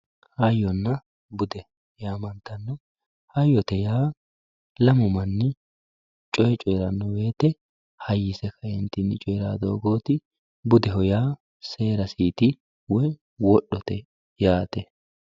hayyonna bude yaa mayaate hayyote yaa lamu manni coye coyeeranno woyiite hayyise ka"eentinni coye doogooti budeho yaa seerasiiti woye wodhote yaate.